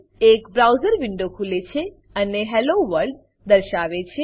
એક browser window ખુલે છે અને હેલ્લો વર્લ્ડ હેલો વર્લ્ડ દર્શાવે છે